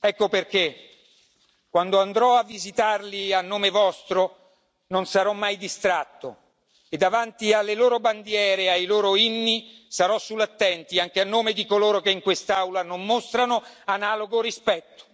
Ecco perché quando andrò a visitarli a nome vostro non sarò mai distratto e davanti alle loro bandiere e ai loro inni sarò sull'attenti, anche a nome di coloro che in quest'Aula non mostrano analogo rispetto.